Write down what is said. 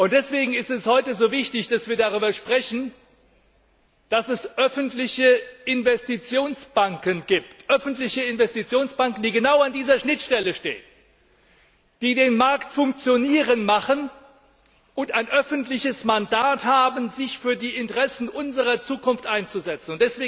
Deswegen ist es heute so wichtig, dass wir darüber sprechen, dass es öffentliche Investitionsbanken gibt, die genau an dieser Schnittstelle stehen, die den Markt funktionieren lassen und ein öffentliches Mandat haben, sich für die Interessen unserer Zukunft einzusetzen.